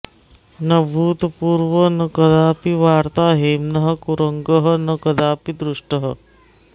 न भूतपूर्वं न कदापि वार्ता हेम्नः कुरंगः न कदापि दृष्टः